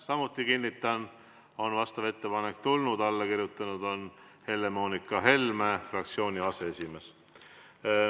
Samuti kinnitan, vastav ettepanek on tulnud, alla kirjutanud on Helle-Moonika Helme, fraktsiooni aseesimees.